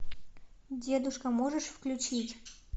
дедушка можешь включить